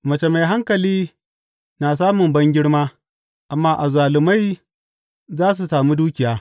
Mace mai hankali na samu bangirma, amma azzalumai za su sami dukiya.